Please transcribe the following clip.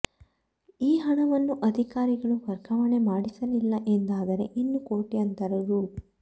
ಈ ಹಣವನ್ನು ಅಧಿಕಾರಿಗಳು ವರ್ಗಾವಣೆ ಮಾಡಿಸಲಿಲ್ಲ ಎಂದಾದರೆ ಇನ್ನು ಕೋಟ್ಯಂತರ ರೂ